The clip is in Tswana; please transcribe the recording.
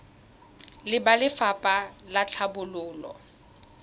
le ba lefapha la tlhabololo